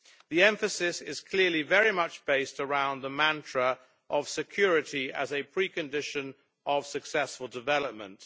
The emphasis is clearly very much based around the mantra of security as a precondition of successful development.